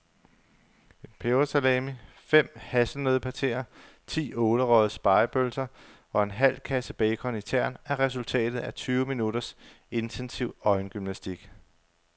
En pebersalami, fem hasselnøddepateer, ti ålerøgede spegepølser og en halv kasse bacon i tern er resultatet af tyve minutters intensiv øjengymnastik.